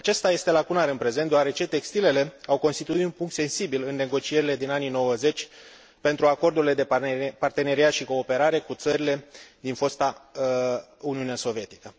Acesta este lacunar în prezent, deoarece textilele au constituit un punct sensibil în negocierile din anii '90 pentru Acordurile de parteneriat și cooperare cu țările din fosta Uniune Sovietică.